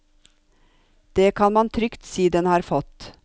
Det kan man trygt si den har fått.